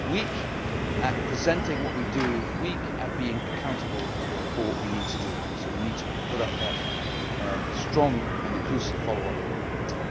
weak at presenting what we do and weak at being accountable for what we need to do, so we need to put up that strong and inclusive follow up and review mechanism.